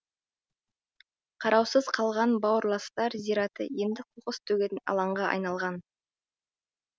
қараусыз қалған бауырластар зираты енді қоқыс төгетін алаңға айналған